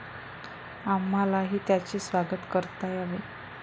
आम्हालाही त्यांचे स्वागत करता यावे.